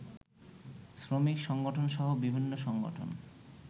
শ্রমিক সংগঠনসহ বিভিন্ন সংগঠন